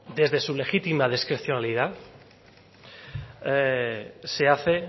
desde su legítima discrecionalidad se hace